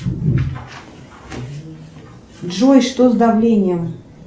джой что с давлением